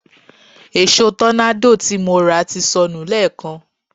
Èṣo tọ́nádò tí mo rà ti sọnù lẹ́èkan